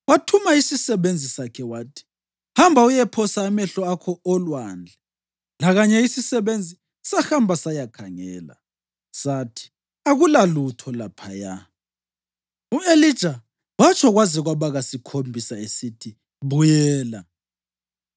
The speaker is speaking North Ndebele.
Wathuma isisebenzi sakhe wathi: “Hamba uyephosa amehlo akho olwandle.” Lakanye isisebenzi sahamba sayakhangela. Sathi, “Akulalutho laphaya.” U-Elija watsho kwaze kwaba kasikhombisa esithi, “Buyela.”